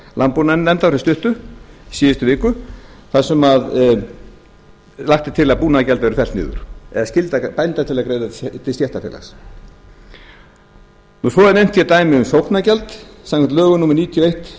landbúnaðarnefndar fyrir stuttu í síðustu viku þar sem lagt er til að búnaðargjald verði fellt niður eða skylda bændur til að greiða til stéttarfélags svo er nefnt hér dæmi um sóknargjald samkvæmt lögum númer níutíu og eitt